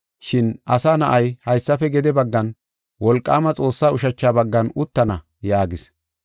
Shin Asa Na7ay haysafe gede baggan wolqaama Xoossaa ushacha baggan uttana” yaagis.